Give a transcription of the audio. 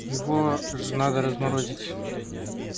его же надо разморозить